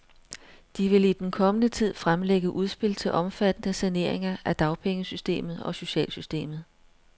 De vil i den kommende tid fremlægge udspil til omfattende saneringer af dagpengesystemet og socialsystemet.